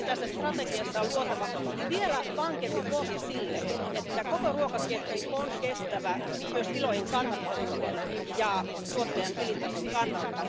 Siksi tässä strategiassa on luotava vielä vankempi pohja sille, että koko ruokaketju on kestävä, myös tilojen kannattavuuden ja tuottajan elintason kannalta.